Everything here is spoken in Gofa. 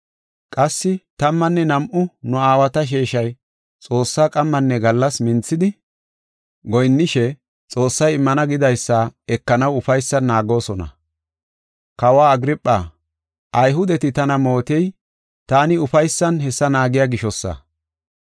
Qassi tammanne nam7u nu aawata sheeshay Xoossaa qammanne gallas minthidi goyinnishe Xoossay immana gidaysa ekanaw ufaysan naagoosona. Kawaw Agirpha, Ayhudeti tana mootey taani ufaysan hessa naagiya gishosa.